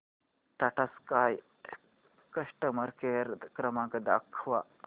Tata sky customer care क्रमांक दाखवा